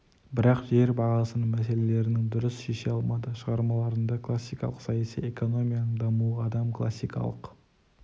бірақ жер бағасының мәселелерін дұрыс шеше алмады шығармаларында классикалық саяси экономияның дамуы адам классикалық